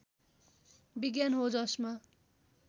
विज्ञान हो जसमा